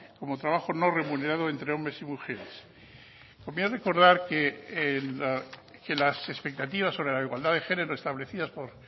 como trabajo no remunerado entre hombres y mujeres conviene recordar que las expectativas sobre la igualdad de género establecidas por